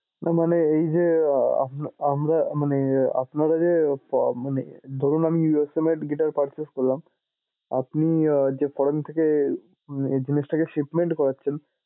না মানে এইযে আহ আমরা মানে আপনারা যে মানে ধরুন আমি USA made guitar purchase করলাম। আপনি যে foreign থেকে জিনিসটাকে shipment করাচ্ছেন।